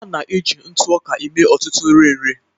A na-eji ntụ ọka eme ọtụtụ nri nri